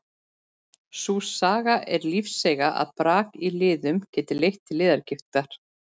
Sú saga er lífseiga að brak í liðum geti leitt til liðagigtar.